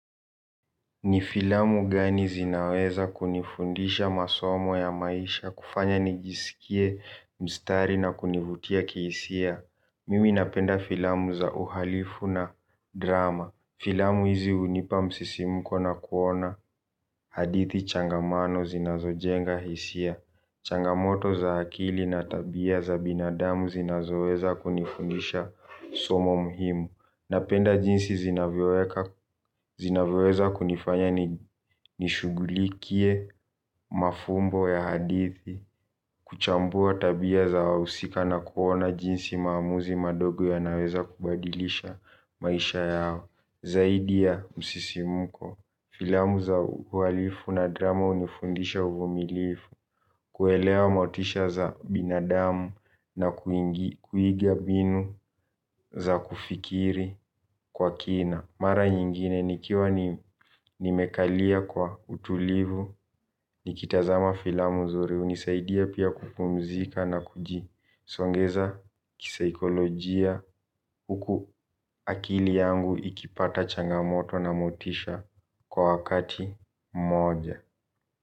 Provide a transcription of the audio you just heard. Nifilamu gani zinaweza kunifundisha masomo ya maisha kufanya nijisikie mstari na kunivutia kisia Mimi napenda filamu za uhalifu na drama. Filamu hizi unipa msisimuko na kuona hadithi changamano zinazo jenga hisia. Changamoto za hakili na tabia za binadamu zinazoweza kunifundisha somo muhimu. Napenda jinsi zinavoweza kunifanya nishugulikie mafumbo ya hadithi. Kuchambua tabia za wausika na kuona jinsi maamuzi madogo yanaweza kubadilisha maisha yao. Zaidi ya msisimuko filamu za uwalifu na drama unifundisha uvumilifu. Kuelewa motisha za binadamu na kuingia binu za kufikiri kwa kina. Mara nyingine, nikiwa nimekalia kwa utulivu, nikitazama filamu zuri, unisaidia pia kupumzika na kujisongeza kisaikolojia huku akili yangu ikipata changamoto na motisha kwa wakati moja.